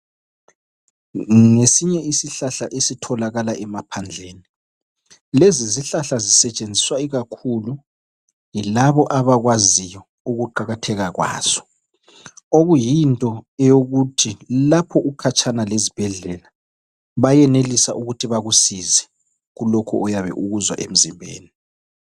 Ngesinye isihlahla esitholakala emaphandleni lezi zihlahla zisetshenziswa ikakhulu yilabo abakwaziyo ukuqakatheka kwazo, okuyinto yokuthi lapho ukhatshana lezibhedlela bayenelise ukuthi bakusize kulokhu oyabe ukuzwa emzimbeni.